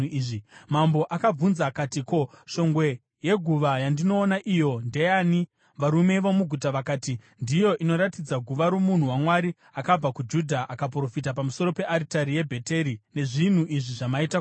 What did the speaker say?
Mambo akabvunza akati, “Ko, shongwe yeguva yandinoona iyo ndeyani?” Varume vomuguta vakati, “Ndiyo inoratidza guva romunhu waMwari akabva kuJudha akaprofita pamusoro pearitari yeBheteri nezvinhu izvi zvamaita kwairi.”